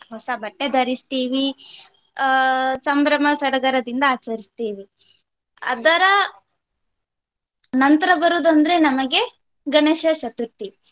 ಹೊಸ ಬಟ್ಟೆ ಧರಿಸ್ತಿವಿ ಅಹ್ ಸಂಭ್ರಮ ಸಡಗರದಿಂದ ಆಚರಿಸ್ತೀವಿ. ಅದರ ನಂತ್ರ ಬರುದಂದ್ರೆ ನಮಗೆ ಗಣೇಶ ಚತುರ್ಥಿ.